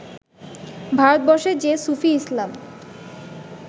ভারতবর্ষে যে সুফি ইসলাম